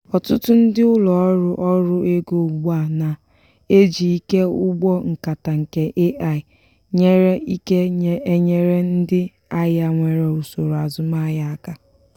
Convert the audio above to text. ọtụtụ ndị ụlọ ọrụ ọrụ ego ugbu a na-ejị ike ụgbọ nkata nke ai-nyere ike enyere ndị ahịa nwere usoro azumahịa aka